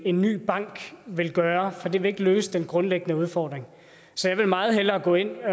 en ny bank vil gøre for det vil ikke løse den grundlæggende udfordring så jeg vil meget hellere gå ind og